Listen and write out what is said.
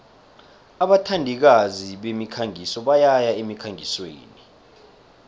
abathandikazi bemikhangiso bayaya emkhangisweni